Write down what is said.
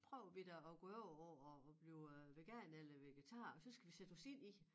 Prøver vi da at gå over på at blive øh veganere eller vegetarer og så skal vi sætte os ind i det